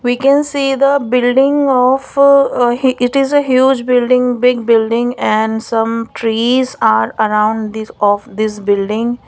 we can see the building of he it is a huge building big building and some trees are around this of this building.